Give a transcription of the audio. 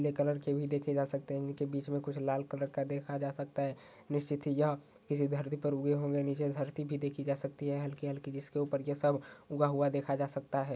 ले कलर के भी देखे जा सकते हैं। इनके बीच में कुछ लाल कलर का देखा जा सकता है। निश्चित ही यह किसी धरती पर उगे होंगे। नीचे धरती भी देखी जा सकती है हल्की-हल्की जिसके ऊपर ये सब ऊगा हुआ देखा जा सकता है।